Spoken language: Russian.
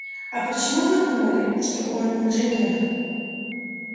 а почему вы думали что он инженер